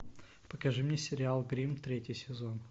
покажи мне сериал гримм третий сезон